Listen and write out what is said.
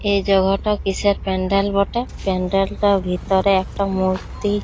এই জায়গাটা কিসের প্যান্ডেল বটে প্যান্ডেলটার ভিতরে একটি মূর্তি ।